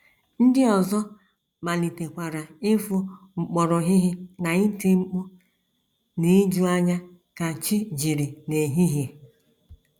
Ndị ọzọ malitekwara ịfụ mkpọrọhịhị na iti mkpu n’ijuanya ka chi jiri n’ehihie.